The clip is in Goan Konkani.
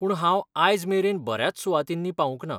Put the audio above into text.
पूण हांव आयजमेरेन बऱ्याच सुवातींनी पावूंक ना.